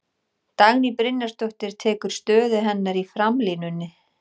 Dagný Brynjarsdóttir tekur stöðu hennar í framlínunni.